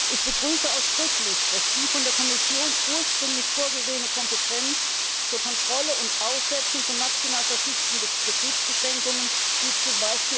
Ich begrüße ausdrücklich, dass die von der Kommission ursprünglich vorgesehene Kompetenz zur Kontrolle und Aussetzung von national verfügten Betriebsbeschränkungen, wie z.